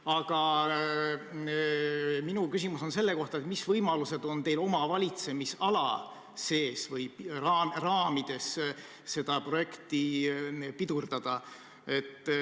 Aga minu küsimus on selle kohta, mis võimalused on teil oma valitsemisala sees seda projekti pidurdada.